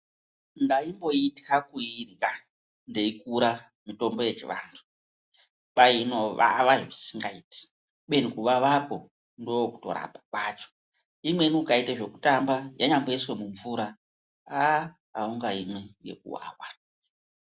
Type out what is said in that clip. Ndaipoitwa kurya mitombo yechivantu kwainoshata singaiti ubeni kuvavavko ndokutorapa kwacho imweni ukaita zvekutamba yanyaiswa mumvura aungaimwi.